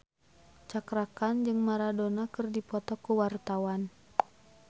Cakra Khan jeung Maradona keur dipoto ku wartawan